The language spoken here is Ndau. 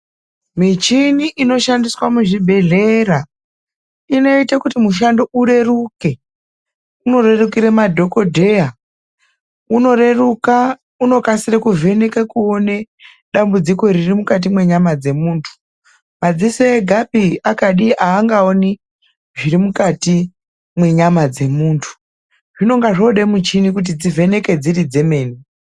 Michini inoshandiswa muzvibhehlera inoite kuti mushando ureruke. Unorerukire madhokodheya, unoreruka unokasira kuvheneka kuone dambudziko ririmukati mwenyayama dzemuntu, madziso egaapi akadi angaoni zviri mukati mwenyama dzemuntu. Panotoda muchini kuti dzivheneke dzemene.